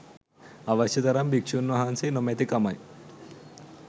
අවශ්‍ය තරම් භික්‍ෂූන් වහන්සේ නොමැතිකමයි.